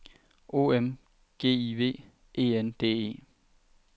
O M G I V E N D E